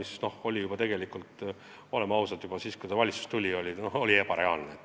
See oli tegelikult, oleme ausad, juba siis, kui eelnõu valitsusest tuli, ebareaalne.